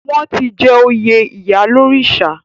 Wọ́n ti jẹ oyè ìyálórìṣà.